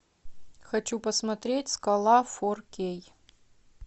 хочу посмотреть скала фор кей